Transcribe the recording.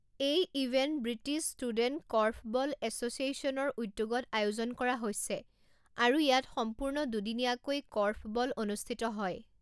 এই event British student korfball এছ'চিয়েশ্যনৰ উদ্যোগত আয়োজন কৰা হৈছে আৰু ইয়াত সম্পূৰ্ণ দুদিনীয়াকৈ কৰ্ফবল অনুষ্ঠিত হয়।